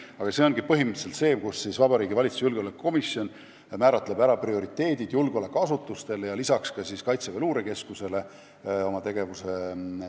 Aga põhimõtteliselt määratleb Vabariigi Valitsuse julgeolekukomisjon julgeolekuasutuste tegevuse prioriteedid ja lisaks ka Kaitseväe Luurekeskuse omad.